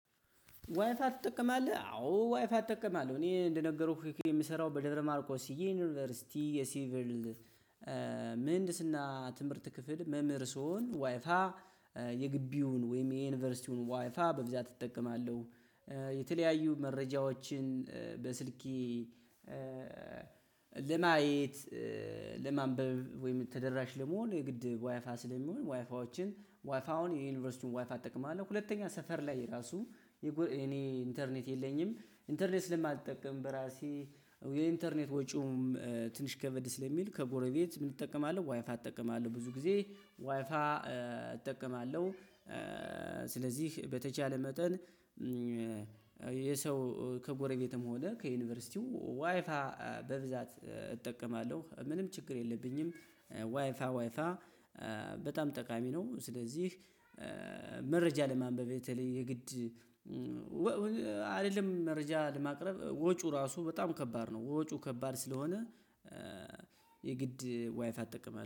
ዋይፋ ትጠቀማለህ? አዎ ዋይፋ እጠቀማለለሁ። እኔ እንደነገርኩህ የምሰራው በደብረማርቆስ ዩኒቨርሲቲ የሲቪል ምህንድስና ትምህርት ክፍል መምህር ስሆን ዋይፋ የግቢውን ወይም የዩኒቨርሲቲውን ዋይፋ በብዛት እጠቀማለሁ። የተለያዩ መረጃዎችን በስልኬ ለማየት፣ ለማንበብ ወይም ተደራሽ ለመሆን የግድ ዋይፋ ስለሚሆን ዋይፋዎችን ዋይፋውን የዩኒቨርሲቲውን ዋይፋ እጠቀማለሁ። ሁለተኛ ሰፈር ላይ ራሱ የጎ የኔ ኢንተርኔት የለኝም ኢንተርኔት ስለማትጠቀም በራሴ የኢንተርኔት ወጪውም ትንሽ ከበድ ስለሚል ከጎረቤት ምን እጠቀማለሁ ዋይፋ እጠቀማለሁ። ብዙ ጊዜ ዋይፋ እጠቀማለሁ። ስለዚህ በተቻለ መጠን የሰው ከጎረቤትም ሆነ ከዩኒቨርሲቲው ዋይፋ በብዛት እጠቀማለሁ ምንም ችግር የለብኝም። ዋይፋ ዋይፋ ጠቃሚ ነው። ስለዚህ መረጃ ለማንበብ የተለየ የግድ መረጃ ለማቅረብ ወጩ ራሱ በጣም ከባድ ነው። ወጩ ከባድ ስለሆነ የግድ ዋይፋ እጠቀማለሁ።